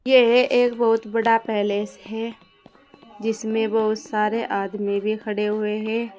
यह एक बहुत बड़ा पैलेस है जिसमें बहुत सारे आदमी भी खड़े हुए हैं।